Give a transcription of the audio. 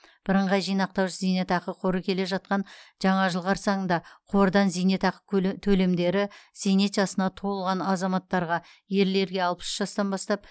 бірыңғай жинақтаушы зейнетақы қоры келе жатқан жаңа жыл қарсаңында қордан зейнетақы төлемдері зейнет жасына толған азаматтарға ерлерге алпыс үш жастан бастап